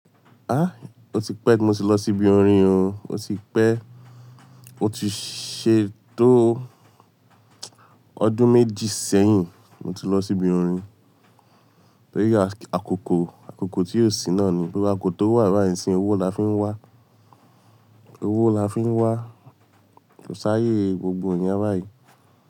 Á, o ti pẹ́ tí mo ti lọ sí ibi orin o, o ti pẹ́. Mo ti ṣe tó ọdún méjì sẹ́yìn mo ti lọ síbi orin. Torí àkókò, àkókò tí ò sí náà ni. Àkókò tó wà báyìí nísín yí owó la fi ń wá, owó la fi ń wá, kó sáayè gbogbo iyẹn báyìí.